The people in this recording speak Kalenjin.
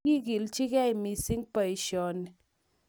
Kigilechigei missing boisioni